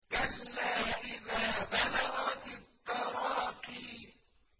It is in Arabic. كَلَّا إِذَا بَلَغَتِ التَّرَاقِيَ